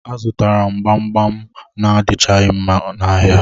A zụtara m gbam gbam adichaghi mma n'ahịa